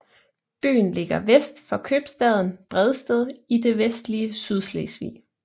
Byen ligger vest for købstaden Bredsted i det vestlige Sydslesvig